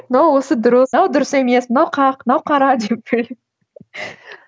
мынау осы дұрыс мынау дұрыс емес мынау қақ мынау қара деп